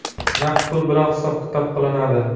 Naqd pul bilan hisob-kitob qilinadi.